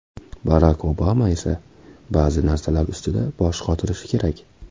Barak Obama esa ba’zi narsalar ustida bosh qotirishi kerak.